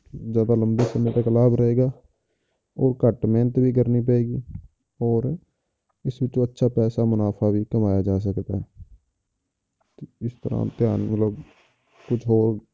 ਜ਼ਿਆਦਾ ਲੰਬੇ ਸਮੇਂ ਤੱਕ ਲਾਭ ਰਹੇਗਾ ਉਹ ਘੱਟ ਮਿਹਨਤ ਵੀ ਕਰਨੀ ਪਏਗੀ ਹੋਰ ਇਸ ਵਿੱਚੋਂ ਅੱਛਾ ਖਾਸਾ ਮੁਨਾਫ਼ਾ ਵੀ ਕਮਾਇਆ ਜਾ ਸਕਦਾ ਹੈ ਤੇ ਇਸ ਤਰ੍ਹਾਂ ਕੁਛ ਹੋਰ